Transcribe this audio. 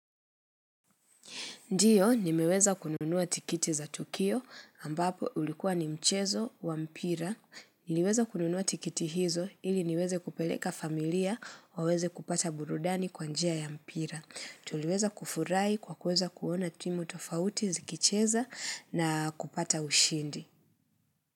Ndiyo, nimeweza kununua tiketi za Tukio ambapo ulikuwa ni mchezo wa mpira. Niliweza kununuwa tiketi hizo ili niweze kupeleka familia waweze kupata burudani kwanjia ya mpira. Tuliweza kufurahi kwa kuweza kuona timu tofauti zikicheza na kupata ushindi.